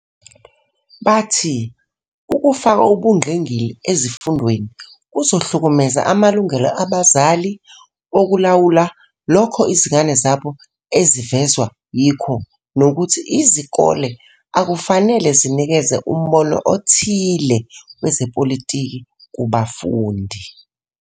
Bathi ukufaka ubungqingili ezifundweni kuzohlukumeza amalungelo abazali okulawula lokho izingane zabo ezivezwa yikho nokuthi izikole akufanele zinikeze umbono othile wezepolitiki kubafundi.